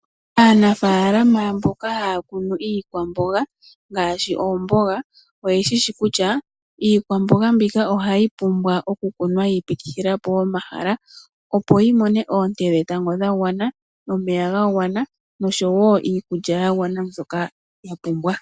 Aanafaalama mboka haya kunu iikwamboga ngaashi oomboga oye shishi kutya iikwamboga mbika ohayi pumbwa oku kunwa yiipitithila po omahala, opo yi mone oonte dhetango dha gwana, omeya ga gwana noshowo iikulya ya gwana mbyoka ya pumbwa.